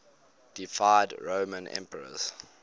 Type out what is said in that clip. deified roman emperors